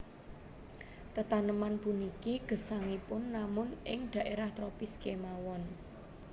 Tetaneman puniki gesangipun namun ing dhaérah tropis kémawon